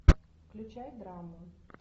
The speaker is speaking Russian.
включай драму